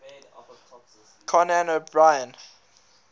conan o brien